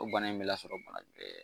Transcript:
O bana in me lasɔrɔ bana